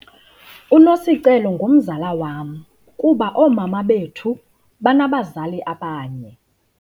UNosicelo ngumzala wam kuba oomama bethu banabazali abanye.